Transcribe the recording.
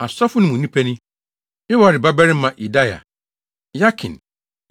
Asɔfo no mu nnipa ni: Yoiarib babarima Yedaia; Yakin;